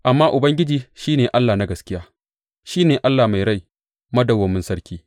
Amma Ubangiji shi ne Allah na gaskiya; shi ne Allah mai rai, madawwamin sarki.